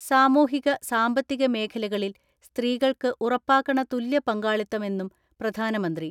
സാമൂഹിക സാമ്പത്തിക മേഖലകളിൽ സ്ത്രീകൾക്ക് ഉറപ്പാക്കണ തുല്യ പങ്കാളിത്തം മെന്നും പ്രധാനമന്ത്രി.